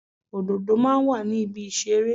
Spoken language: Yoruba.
Òdòdó máa ń wà ní ibi ìṣeré.